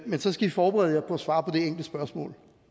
men så skal i forberede jer på at svare på det enkle spørgsmål